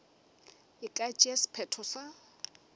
e ka tšea sephetho sa